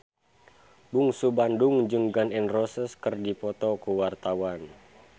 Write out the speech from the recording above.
Bungsu Bandung jeung Gun N Roses keur dipoto ku wartawan